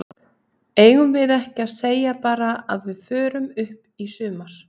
Eigum við ekki að segja bara að við förum upp í sumar?